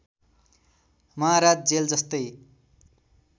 महाराज जेल जस्तै